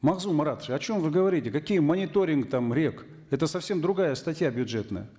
магзум маратович о чем вы говорите какие мониторинги там рек это совсем другая статья бюджетная